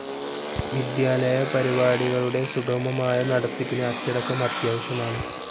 വിദ്യാലയപരിപാടികളുടെ സുഗമമായ നടത്തിപ്പിന് അച്ചടക്കം അത്യാവശ്യമാണ്.